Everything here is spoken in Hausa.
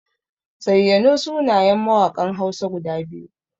Zayyano sunayen mawaƙan Hausa guda biyu.